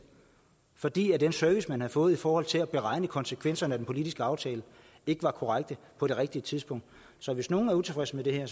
fordi den service man havde fået i forhold til at beregne konsekvenserne af den politiske aftale ikke var korrekt på det rigtige tidspunkt så hvis nogen er utilfredse med det her er